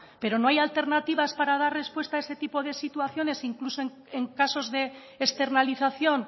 pero no hay alternativas para dar respuesta a ese tipo de situaciones incluso en casos de externalización